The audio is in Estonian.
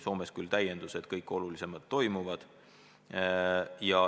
Soomes küll kõik olulisemad arutelud toimuvad.